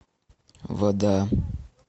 вода